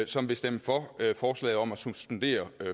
som vil stemme for forslaget om at suspendere